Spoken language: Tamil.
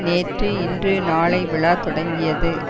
நேற்று இன்று நாளை விழா தொடங்கியது